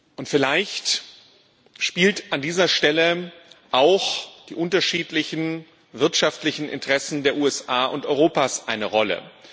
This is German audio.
Und vielleicht spielen an dieser Stelle auch die unterschiedlichen wirtschaftlichen Interessen der USA und Europas eine Rolle.